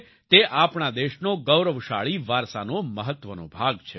તે આપણા દેશનો ગૌરવશાળી વારસાનો મહત્વનો ભાગ છે